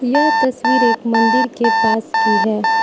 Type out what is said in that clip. यह तस्वीर एक मंदिर के पास की है।